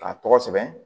K'a tɔgɔ sɛbɛn